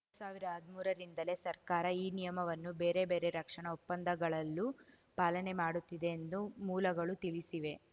ಸಾವಿರ ಹದ್ಮೂರರಿಂದಲೇ ಸರ್ಕಾರ ಈ ನಿಯಮವನ್ನು ಬೇರೆ ಬೇರೆ ರಕ್ಷಣಾ ಒಪ್ಪಂದಗಳಲ್ಲೂ ಪಾಲನೆ ಮಾಡುತ್ತಿದೆ ಎಂದು ಮೂಲಗಳು ತಿಳಿಸಿವೆ